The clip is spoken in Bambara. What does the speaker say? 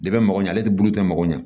De bɛ mɔgɔ ɲɛ ale tɛ bolo tɛ mɔgɔ ɲɛ